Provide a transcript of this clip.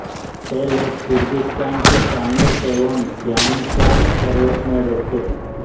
ये लोग किर्गिस्तान के पामीर एवं ध्यानशान पर्वत में रहते हैं